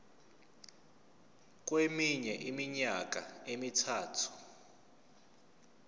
kweminye iminyaka emithathu